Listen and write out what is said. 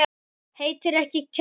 Heitir ekki Kjarrá!